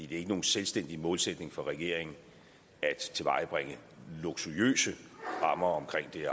det er ikke nogen selvstændig målsætning for regeringen at tilvejebringe luksuriøse rammer omkring det